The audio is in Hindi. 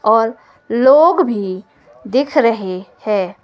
और लोग भी दिख रहे हैं।